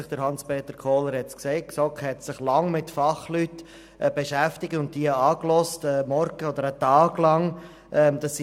Die GSoK hat sich lange mit Fachleuten beschäftigt und sie angehört, während eines ganzen Morgens oder sogar eines ganzen Tages.